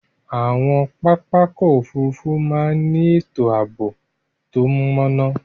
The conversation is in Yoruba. Awọn papá ọ̀kọ̀ ofúrúfú màà ni etò aabo to máná